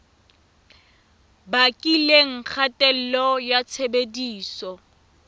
bakileng kgatello ya tshebediso ya